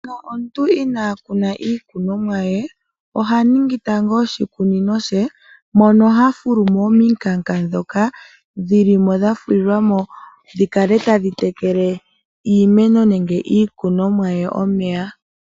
Manga omuntu inaa kuna iikunomwa ye, oha ningi tango oshikunino she moka ha fulu mo omikanka ndhoka dhi li mo dha fulilwa mo dhi kale tadhi tekele iimeno nenge iikunomwa ye omeya.